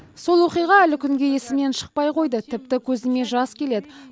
сол оқиға әлі күнге есімнен шықпай қойды тіпті көзіме жас келеді